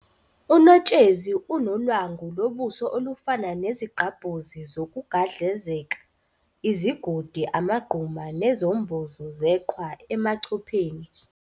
UNotshezi unolwangu lobuso olufana nezigqabhozi zokugadlazeka, izigodi, amagquma, nezombozo zeqhwa emachopheni.